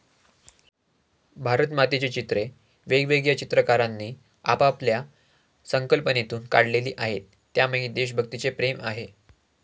भारतमातेची चित्रे वेगवेगळ्या चित्रकारांनी आपापल्या संकल्पनेतून काढलेली आहेत, त्यामागे देशभक्तीचे प्रेम आहे.